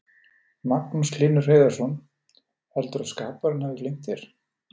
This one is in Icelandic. Magnús Hlynur Hreiðarsson: Heldurðu að skaparinn hafi gleymt þér?